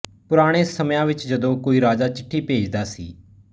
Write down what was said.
ਪੁਰਾਣੇ ਸਮਿਆਂ ਵਿੱਚ ਜਦੋਂ ਕੋਈ ਰਾਜਾ ਚਿੱਠੀ ਭੇਜਦਾ ਸੀ